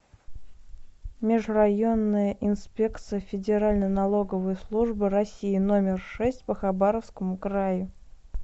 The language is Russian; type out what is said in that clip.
межрайонная инспекция федеральной налоговой службы россии номер шесть по хабаровскому краю